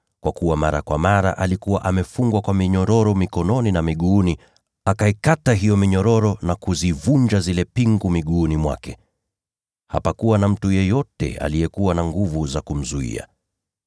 Kwa kuwa mara kwa mara alikuwa amefungwa minyororo mikononi na miguuni, lakini akaikata hiyo minyororo na kuzivunja zile pingu miguuni mwake. Hapakuwa na mtu yeyote aliyekuwa na nguvu za kumzuia.